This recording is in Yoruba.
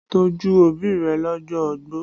Tọ́jú òbí rẹ lọ́jọ́ ogbó!